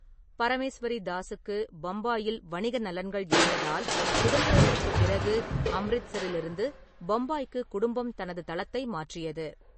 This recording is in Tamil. பரமேஸ்வரிதாஸுக்கு பம்பாயில் வணிக நலன்கள் இருந்ததால், சுதந்திரத்திற்குப் பிறகு அம்ரித்ஸரிலிருந்து பம்பாய்க்கு குடும்பம் தனது தளத்தை மாற்றியது.